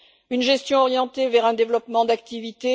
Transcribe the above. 3 une gestion orientée vers un développement d'activités